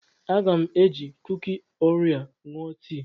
Aga m eji kuki Orio ṅụọ tii.